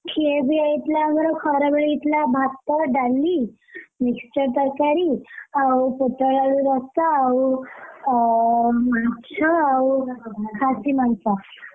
ଖିଆପିଆ ହେଇଥିଲା ଆମର ଖରାବେଳେ ହେଇଥିଲା ଆମର ଭାତ, ଡାଲି, ମିକ୍ସଚର୍, ତରକାରି ଆଉ ପୋଟଳ ଆଳୁ ରସା, ଆଉ ଅଁ ମାଛ ଆଉ ଖାସି ମାଂସ।